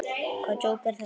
Hvaða djók er þetta?